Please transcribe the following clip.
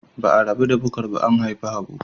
Ba a rabu da Bukar ba an haifi Habu.